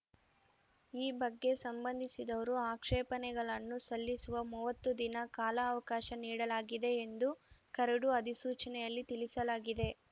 ಈ ಬಗ್ಗೆ ಸಂಬಂಧಿಸಿದವರು ಆಕ್ಷೇಪಣೆಗಳನ್ನು ಸಲ್ಲಿಸುವ ಮೂವತ್ತು ದಿನ ಕಾಲಾವಕಾಶ ನೀಡಲಾಗಿದೆ ಎಂದು ಕರಡು ಅಧಿಸೂಚನೆಯಲ್ಲಿ ತಿಳಿಸಲಾಗಿದೆ